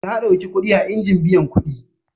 Ta ɗauki kuɗi a injin biyan kuɗi.